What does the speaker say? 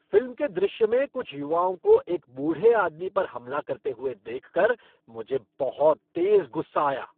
Film के दृश्य में कुछ युवाओं को एक बूढ़े आदमी पर हमला करते हुए देखकर मुझे बहुत तेज़ गुस्सा आया।